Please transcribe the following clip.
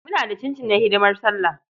Muna da cincin na hidimar Sallah.